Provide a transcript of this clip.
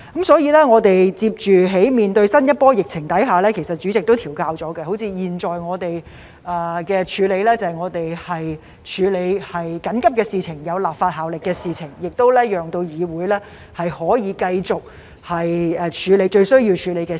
所以，在面對新一波疫情時，主席已作出調整，例如現在我們的做法是處理緊急、具立法效力的事情，讓議會可以繼續處理最需要處理的事情。